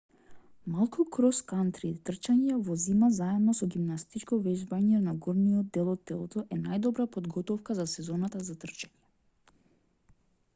малку крос-кантри трчање во зима заедно со гимнастичко вежбање за горниот дел од телото е најдобра подготовка за сезоната за трчање